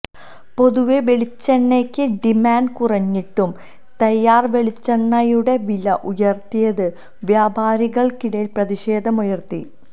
പൊതുവെ വെളിച്ചെണ്ണയ്ക്ക് ഡിമാന്റ് കുറഞ്ഞിട്ടും തയാര് വെളിച്ചെണ്ണയുടെ വില ഉയര്ത്തിയത് വ്യാപാരികള്ക്കിടയില് പ്രതിഷേധം ഉയര്ത്തി